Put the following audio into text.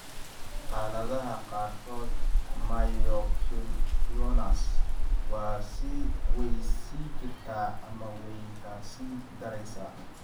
Xaaladaha qaarkood, myoclonus way sii jirtaa ama way ka sii daraysaa.